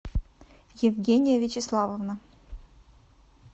евгения вячеславовна